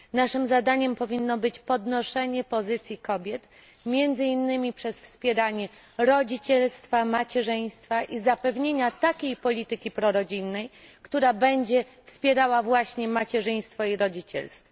Naszym zadaniem powinno być podnoszenie pozycji kobiet, między innymi przez wspieranie rodzicielstwa, macierzyństwa i zapewnienia takiej polityki prorodzinnej, która będzie wspierała właśnie macierzyństwo i rodzicielstwo.